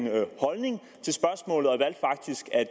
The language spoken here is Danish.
holdning